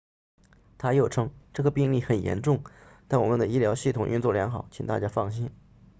他又称这个病例很严重但我们的医疗系统运作良好请大家放心